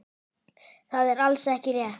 Það er alls ekki rétt.